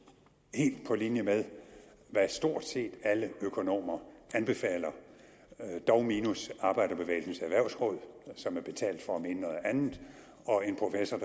helt på linje med hvad stort set alle økonomer anbefaler dog minus arbejderbevægelsens erhvervsråd som er betalt for at mene noget andet og en professor